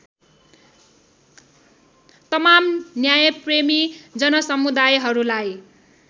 तमाम न्यायप्रेमी जनसमुदायहरूलाई